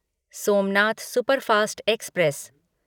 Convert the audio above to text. Somnath superfast express